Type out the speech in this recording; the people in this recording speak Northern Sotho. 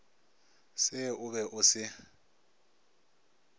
se o be o se